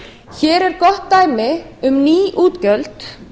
hér er gott dæmi um ný útgjöld